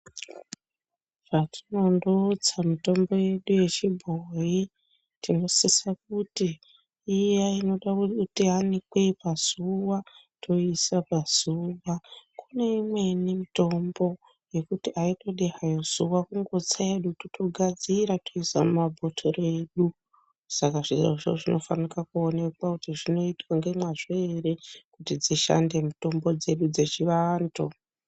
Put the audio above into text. Patinondotsa mitombo yedu yechibhoyi tinosisa kuti iya inoda kuti iya inoda kuti iyanikwe pazuwa toiisa pazuwa Kune imweni hayo mitombo yekuti aitodi hayo zuwa kungotsa hedu totogadzira totoisa mumabhotoro edu saka zvirozvo zvinofanirwa kuonekwa kuti zvinoitwa ngemazvo ere kuti dzishande mitombo dzedu dzechivantu.